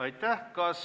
Aitäh!